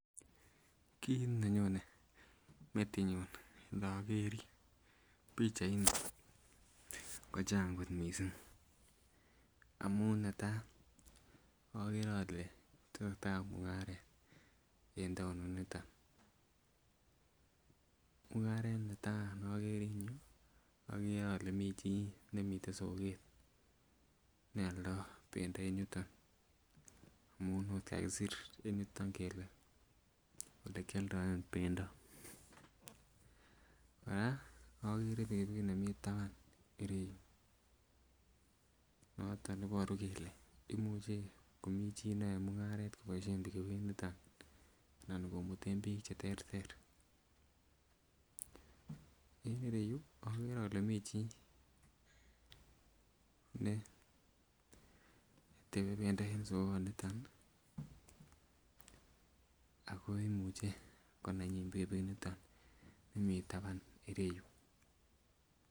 Ki nonyonen metit nyun agere bichait ko Chang kot mising amun netaa agere ale tesetai mungaret en taonit niton mungaret netaa neakeree en yu agere Kole mi chi nemiyen soket nealdaa bendo en yuton amun okot kakisir en yuton kele olekyaldaen bendo koraa agere pikipikit nemiyen taban ireyu noton ibaru kele imuche Komi chito nyae mungaret kobaishen pikipikit niton anan komiten bik cheterter ,AK en iyeyu agere Kole mi bik netebe bendoo en yu en soket niton akoimiche konanyin pikipikit niton nemiyen taban ireyu